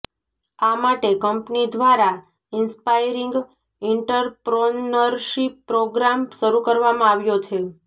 આ માટે કંપની ઘ્વારા ઇન્સ્પાયરિંગ ઈન્ટર્પ્રોનરશીપ પ્રોગ્રામ શરૂ કરવામાં આવ્યો છે